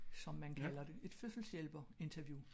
Som man kalder det. Et fødselseshjælper interview